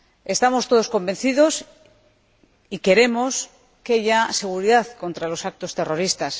Estamos todos convencidos y queremos, ya, seguridad contra los actos terroristas.